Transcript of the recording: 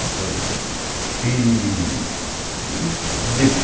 E, e depo